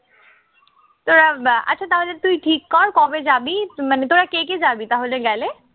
তোরা আচ্ছা তাহলে তুই ঠিক কর কবে যাবি, মানে তোরা কে কে যাবি তাহলে গেলে?